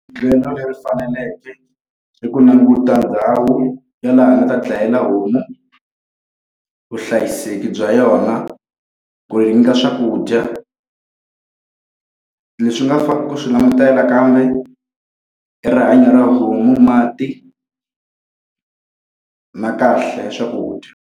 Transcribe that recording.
Ndlela leyi faneleke i ku languta ndhawu ya laha a nga ta dlayela homu, vuhlayiseki bya yona, ku yi nyika swakudya. Leswi nga fanela ku swi langutela nakambe i rihanya ra homu, mati na kahle ya swakudya.